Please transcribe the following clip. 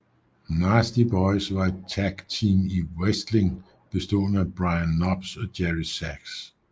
Nasty Boys var et tagteam i wrestling bestående af Brian Knobbs og Jerry Sags